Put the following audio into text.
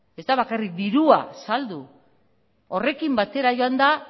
ez da bakarrik dirua saltzea horrekin batera joanda